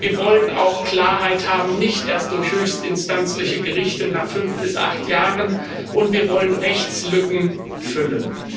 Wir wollen auch Klarheit haben nicht erst durch höchstinstanzliche Gerichte nach fünf bis acht Jahren und wir wollen Rechtslücken füllen.